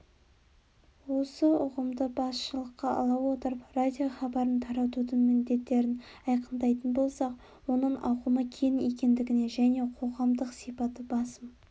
осы ұғымды басшылыққа ала отырып радиохабарын таратудың міндеттерін айқындайтын болсақ оның ауқымы кең екендігіне және қоғамдық сипаты басым